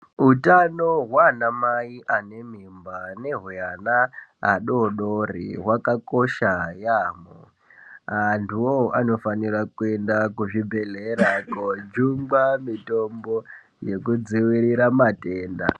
Hutano hwana mai ane mimba nehwe ana adodori hwakakosha yambo. Antu ivavo vanofanire kuenda kuzvibhedhlera kojungwa mitombo yekudzivirira matenda.